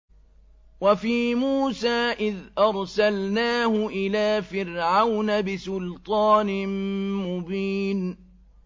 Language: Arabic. وَفِي مُوسَىٰ إِذْ أَرْسَلْنَاهُ إِلَىٰ فِرْعَوْنَ بِسُلْطَانٍ مُّبِينٍ